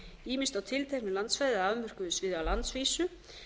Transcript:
ýmist á tilteknu landsvæði eða afmörkuðu sviði á landsvísu